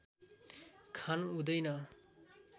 खान हुँदैन